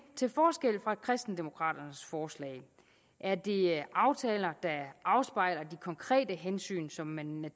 til forskel fra kristendemokraternes forslag er det aftaler der afspejler de konkrete hensyn som man